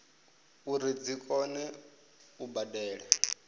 uri dzi kone u badela